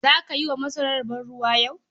Za ka yi wa masarar bayi yau?